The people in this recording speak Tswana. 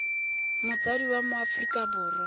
motsadi wa mo aforika borwa